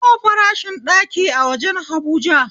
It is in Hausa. Nawa farashin ɗaki a wajen habuja?